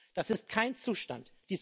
Das ist kein Zustand.